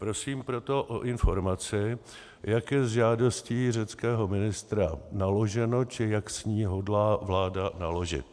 Prosím proto o informaci, jak je s žádostí řeckého ministra naloženo, či jak s ní hodlá vláda naložit.